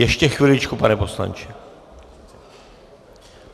Ještě chviličku, pane poslanče...